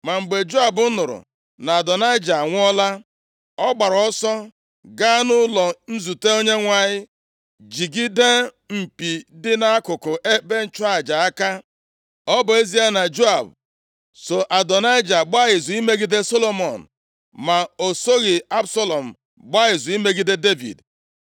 Ma mgbe Joab nụrụ na Adonaịja anwụọla, ọ gbaara ọsọ gaa nʼụlọ nzute Onyenwe anyị jigide mpi dị nʼakụkụ ebe ịchụ aja aka. Ọ bụ ezie na Joab so Adonaịja gbaa izu imegide Solomọn, ma o soghị Absalọm gbaa izu imegide Devid.